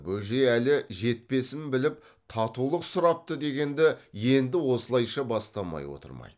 бөжей әлі жетпесін біліп татулық сұрапты дегенді енді осылайша бастамай отырмайды